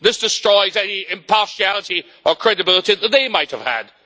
This destroys any impartiality or credibility that they might have had.